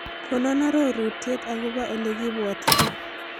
Konon arorutiet agobo ole kibwootito